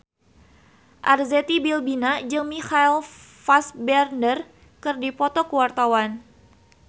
Arzetti Bilbina jeung Michael Fassbender keur dipoto ku wartawan